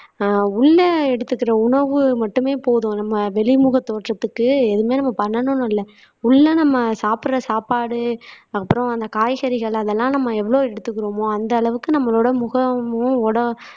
ஆஹ் உள்ள எடுத்துக்கிற உணவு மட்டுமே போதும் நம்ம வெளிமுக தோற்றத்துக்கு எதுவுமே நம்ம பண்ணணும்னு இல்ல உள்ள நம்ம சாப்பிடுற சாப்பாடு அப்புறம் அந்த காய்கறிகள் அதெல்லாம் நம்ம எவ்வளவு எடுத்துக்கிறோமோ அந்த அளவுக்கு நம்மளோட முகமும் உட